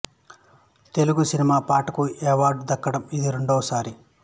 Telugu cinema పాటకు ఈ award దక్కడం ఇది రెండవ సారి